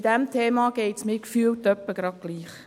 Bei diesem Thema geht es mir gefühlt etwa gleich.